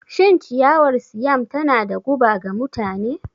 Shin ciyawar Siam tana da guba ga mutane?